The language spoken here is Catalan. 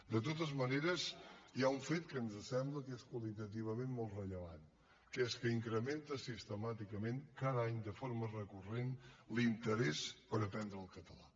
de totes maneres hi ha un fet que ens sembla que és qualitativament molt rellevant que és que incrementa sistemàticament cada any de forma recurrent l’interès per aprendre el català